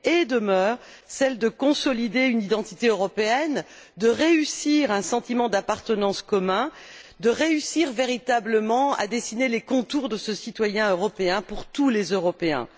demeure la nécessité de consolider une identité européenne, de réussir à instaurer un sentiment d'appartenance commun, de réussir véritablement à dessiner les contours de ce citoyen européen applicables à tous les Européens.